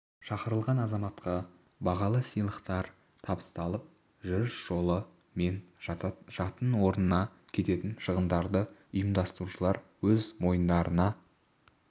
шақырылған азаматқа бағалы сыйлықтар табысталып жүріс жолы мен жатын орнына кететін шығындарды ұйымдастырушылар өз мойындарына